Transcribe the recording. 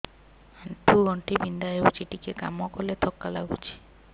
ଆଣ୍ଠୁ ଗଣ୍ଠି ବିନ୍ଧା ହେଉଛି ଟିକେ କାମ କଲେ ଥକ୍କା ଲାଗୁଚି